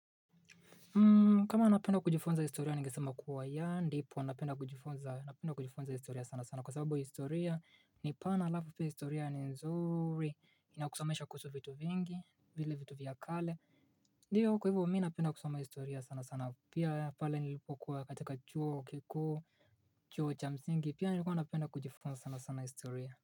Kama unapenda kujifunza historia ningesema kuwa yeah ndipo napenda kujifunza napenda kujifunza historia sana sana kwa sababu historia ni pana halafu pia historia ni nzuri, inakusomesha kuhusu vitu vingi, vile vitu vya kale, ndiyo kwa hivyo mimi napenda kusoma historia sana sana pia pale nilipokuwa katika chuo kikuu, chuo cha msingi pia nilikuwa napenda kujifunza sana sana historia.